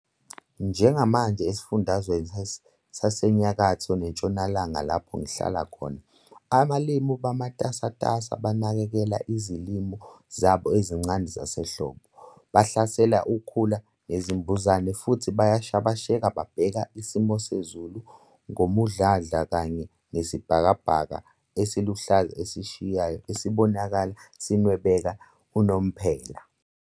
Njengamanje eSifundazweni saseNyakatho neNtshonalanga lapho ngihlala khona, abalimi bamatasatasa banakekela izilimo zabo ezisencane zasehlobo, bahlasela ukhula nezinambuzane futhi bayashabasheka babheka isimo sezulu ngomdlandla kanye nesibhakabhaka esiluhlaza esishisayo esibonakala sinwebeka unomphela.